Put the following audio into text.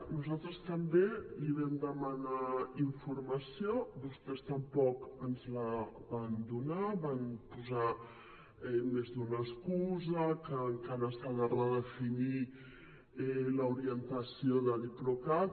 nosaltres també els vam demanar informació vostès tampoc ens la van donar van posar més d’una excusa que encara s’ha de redefinir l’orientació de diplocat